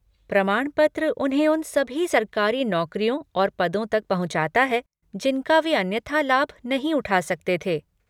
प्रमाणपत्र उन्हें उन सभी सरकारी नौकरियों और पदों तक पहुँचाता है जिनका वे अन्यथा लाभ नहीं उठा सकते थे।